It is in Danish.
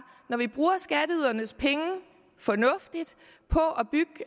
at når vi bruger skatteydernes penge fornuftigt på